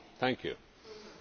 Herr Kollege Fox!